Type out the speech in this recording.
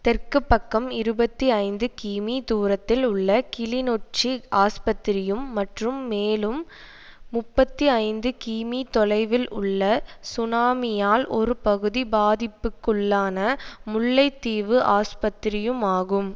தெற்கு பக்கம் இருபத்தி ஐந்து கிமீ தூரத்தில் உள்ள கிளிநொச்சி ஆஸ்பத்திரியும் மற்றும் மேலும் முப்பத்தி ஐந்து கிமீ தொலைவில் உள்ள சுனாமியால் ஒரு பகுதி பாதிப்புக்குள்ளான முல்லைத்தீவு ஆஸ்பத்திரியுமாகும்